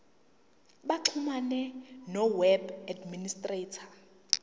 baxhumane noweb administrator